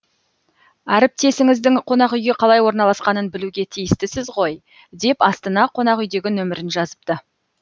әріптесіңіздің қонақүйге қалай орналасқанын білуге тиістісіз ғой деп астына қонақүйдегі нөмірін жазыпты